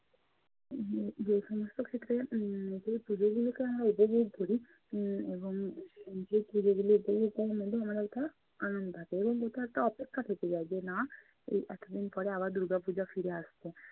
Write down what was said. উম যে সমস্ত ক্ষেত্রে উম যে পূজো গুলোকে আমরা উপভোগ করি উম এবং যে পুজোগুলোর জন্য আমাদের মনে একটা আনন্দ থাকে এবং এটা একটা অপেক্ষা থেকে যায় যে না এতোদিন পরে আবার দুর্গাপূজা ফিরে আসবে।